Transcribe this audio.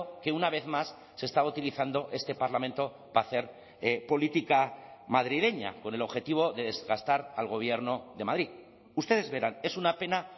que una vez más se está utilizando este parlamento para hacer política madrileña con el objetivo de desgastar al gobierno de madrid ustedes verán es una pena